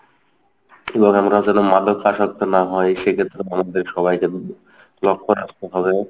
এবং আমরাও যেন মাদক আসক্ত না হই সেক্ষেত্রে আমাদের সবাইকে লক্ষ্য রাখতে হবে।